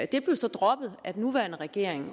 det blev så droppet af den nuværende regering